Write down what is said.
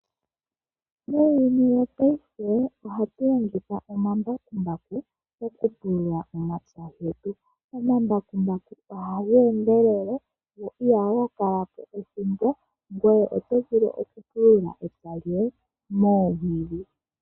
Muuyuni wopaife ohatu longitha omambakumbaku okupulula omapaya getu. Omambakumbaku ohaga endelele , go ihaga kala po ethimbo. Ngoye oto vulu okupulula epya lyoye moowili.